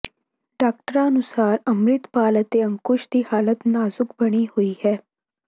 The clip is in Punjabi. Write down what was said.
ਡਾਕਟਰਾਂ ਅਨੁਸਾਰ ਅੰਮ੍ਰਿਤਪਾਲ ਅਤੇ ਅੰਕੁਸ਼ ਦੀ ਹਾਲਤ ਨਾਜ਼ੁਕ ਬਣੀ ਹੋਈ ਹੈ